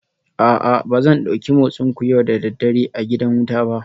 A'a ba zan dauki motsinku yau da dare a gidan wuta ba